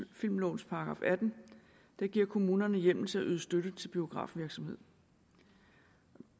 filmlovens § atten der giver kommunerne hjemmel til at yde støtte til biografvirksomhed